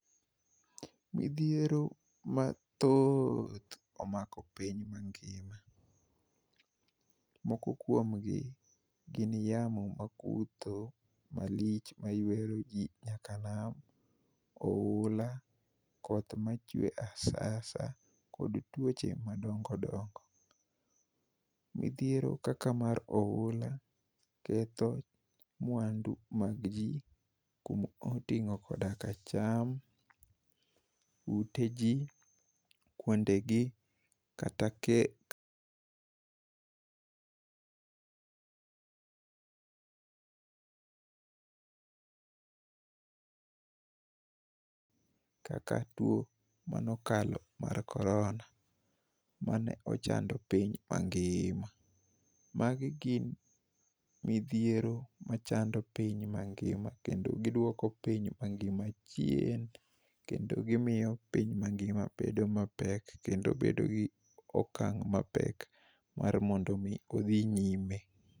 Midhiero mathooth omako piny mangima. Moko kuomgi, gin yamo makutho malich, maywero ji nyaka e nam, oula, koth machwe asasa, kod tuoche madongo dongo. Midhiero kaka mar oula, ketho mwandu mag ji, kuma otingó koda ka cham, uteji, kuondegi, kata kaka two mane okalo mar korona. Mane ochando piny mangima. Magi gin midhiero machando piny mangima kendo giduoko piny mangima chien, kendo gimiyo piny mangima bedo ma pek kendo bedo gi okang' mapek mar mondo omi odhi nyime.